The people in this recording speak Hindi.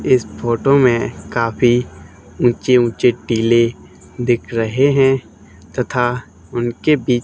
इस फोटो में काफी ऊंचे ऊंचे टीले दिख रहे हैं तथा उनके भी--